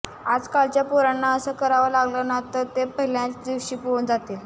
आजकालच्या पोरांना असं करावं लागलं ना तर ते पहिल्याच दिवशी पळून जातील